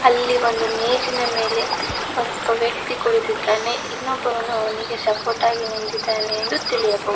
ಇಲ್ಲಿ ಒಂದು ಮೇಜಿನ ಮೇಲೆ ಒಂದ್ ಒಬ್ಬ ವ್ಯಕ್ತಿ ಕುಳಿತಿದ್ದಾನೆ ಇನ್ನೊಬ್ಬವನು ಅವನಿಗೆ ಸಪೋರ್ಟ್ ಹಾಗಿ ನಿಂತಿದಾನೆ ಎಂದು ತಿಳಿಯಬಹು--